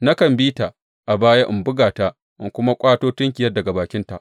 Nakan bi ta a baya in buga ta in kuma ƙwato tunkiyar daga bakinta.